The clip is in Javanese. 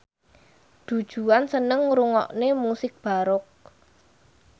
Du Juan seneng ngrungokne musik baroque